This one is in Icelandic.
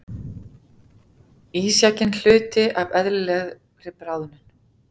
Ísjakinn hluti af eðlilegri bráðnun